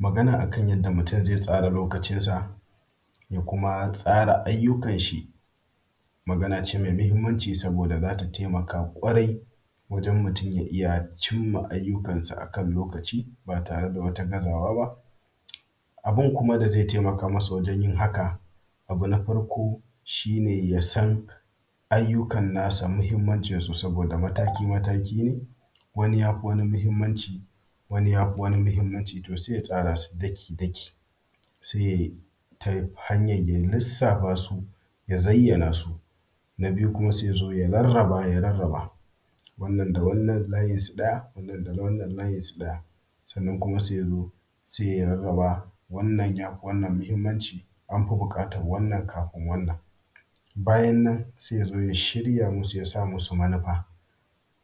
Magana akan yanda mutum zai tsara lokacinsa, ya kuma tsara aiyukanshi, maganace me muhimmanci. Saboda zata taimaka kwarai, wajen mutum ya’iya cimma aiyukansa akan lokaci, batareda wata gazawaba. Abun kuma da ze temakamasa wajen yin haka, Abu na farko. Shine yasan aiyukan nasa muhimmancinsu, saboda mataki mataki ne. Wani yafi wani muhimmanci, wani yafi wani muhimmanci to se ya tsarasu daki daki, se yabi yanhar lissafasu ya zaiyanasu. Na biyu kuma se yazo ya rarraba ya rarraba. Wannan da wannan layinsu ɗaya wannan dama wannan layinsu ɗaya. Sannan kuma se yazo, se ya rarraba wannan yafi wannan muhimmanci, anfi buƙatar wannan kafin wannan. Bayannan sai yazo ya shirya musu, yasamusu manufa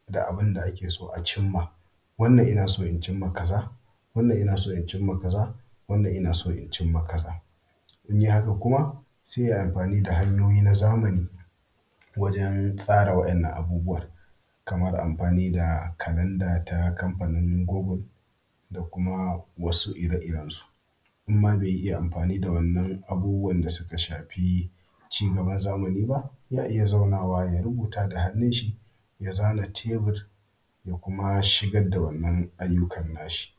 da abunda akeso a cimma. Wannan inaso incinma kaza, wannan ina so incinma kaza wannan ina so incinma kaza. In yayi haka kuma se yayi amfani da hanyoyi na zamani, wajen tsara waɗannan abubuwan. Kamar amfani da Calendar, ta kamfanin Google. da kuma wasu ire iren su. Inma be iya amfani da wadannan abubuwan da suka shafi, ci gaban zamani ba yana iya zaunawa ya rubuta da hannunshi. Ya zana tebur, yakuma shigar da wannan aiyukan nashi.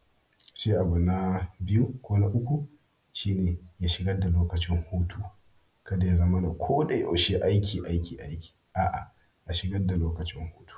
se abu na biyu ko na uku, shine ya shigar da lokacin hutu. Kada yazamana koda yaushe, aiki aiki aiki aa ya shigar da lokacin hutu.